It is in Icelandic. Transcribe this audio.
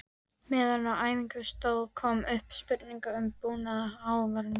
Meðan á æfingum stóð kom upp spurningin um búnað áhafnarinnar.